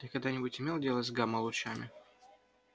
ты когда-нибудь имел дело с гамма-лучами